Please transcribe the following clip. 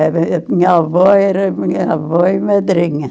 A minha avó era minha avó e madrinha.